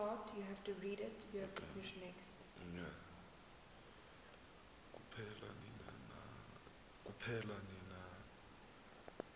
kuphela nini na